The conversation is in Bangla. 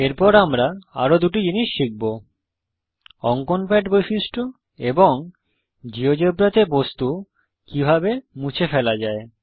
এরপর আমরা আরো দুটি জিনিস শিখব অঙ্কন প্যাড বৈশিষ্ট্য এবং জীয়োজেব্রাতে বস্তু কিভাবে মুছে ফেলা যায়